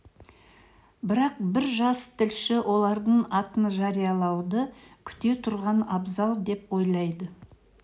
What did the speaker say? бірақ бір жас тілші олардың атын жариялауды күте тұрған абзал деп ойлады